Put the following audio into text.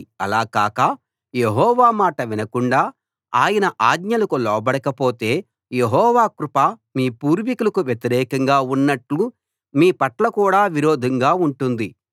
అలా కాక యెహోవా మాట వినకుండా ఆయన ఆజ్ఞలకు లోబడకపోతే యెహోవా కృప మీ పూర్వీకులకు వ్యతిరేకంగా ఉన్నట్టు మీ పట్ల కూడా విరోధంగా ఉంటుంది